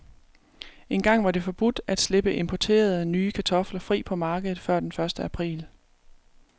Engang var det forbudt at slippe importerede, nye kartofler fri på markedet før den første april.